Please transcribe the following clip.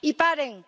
y paren